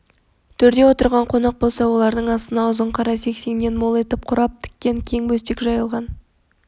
төрде отырған қонақ болса олардың астына ұзын қара сеңсеңнен мол етіп құрап тіккен кең бөстек жайылған